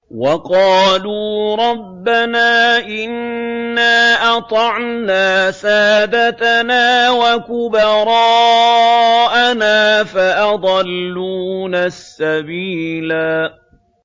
وَقَالُوا رَبَّنَا إِنَّا أَطَعْنَا سَادَتَنَا وَكُبَرَاءَنَا فَأَضَلُّونَا السَّبِيلَا